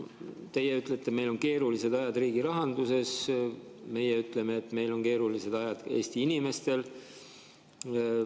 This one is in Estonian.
Teie ütlete, et meil on keerulised ajad riigi rahanduses, meie ütleme, et meil on keerulised ajad Eesti inimestel.